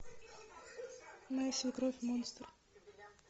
моя свекровь монстр